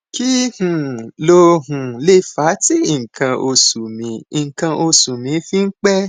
kí um ló um lè fà á tí nǹkan oṣù mi nǹkan oṣù mi fi ń pẹ